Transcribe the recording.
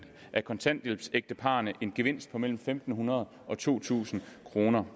af kontanthjælpsægteparrene en gevinst på mellem fem hundrede og to tusind kroner